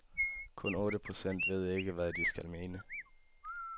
Kun otte procent ved ikke, hvad de skal mene.